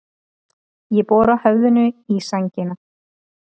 Ég bora höfðinu í sængina.